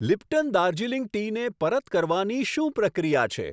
Lipton Darjeeling ટીને પરત કરવાની શું પ્રક્રિયા છે?